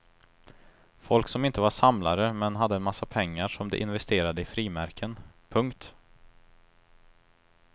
Folk som inte var samlare men hade en massa pengar som de investerade i frimärken. punkt